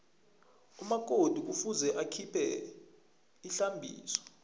umakoti kufuze akhiphe ihlambiso